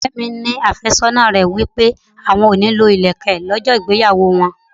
Ọ̀rẹ́ mi ní afésónà rẹ̀ wí pé àwọn kò ní lọ ilẹ̀kè lọ́jọ́ ìgbéyàwó wọn.